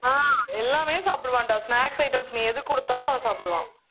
ஆஹ் எல்லாமே சாப்பிடுவாண்டா snacks items நீ எதுக்கு கொடுத்தாலும் அவன் சாப்பிடுவான்